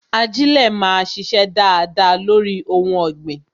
Ajilẹ máa sise dáadáa lórí ohun ọ̀gbìn